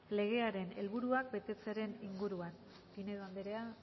legearen helburuak betetzearen inguruan pinedo anderea